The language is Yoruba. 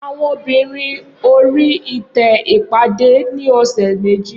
Awọn obinrin ori ite ipade ni ọsẹ meji.